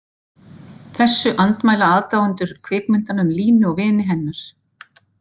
Þessu andmæla aðdáendur kvikmyndanna um Línu og vini hennar.